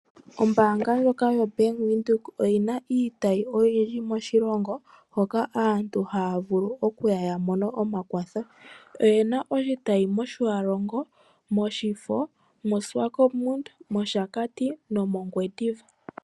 Ombanga ndjoka yo Bank Windhoek oyina iitayi oyindji moshilongo, hoka aantu haya vulu okuya yaka mone omakwatho. Oyena oshitayi moTjiwarongo, Oshakti, Omafo, Swakopmund, Ongwendiva na yilwe iishewe.